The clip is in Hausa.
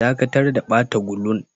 Dakatar da bata gulun!